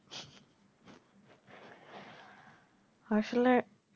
আসলে